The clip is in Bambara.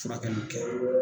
Furakɛliw kɛ